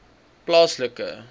plaaslike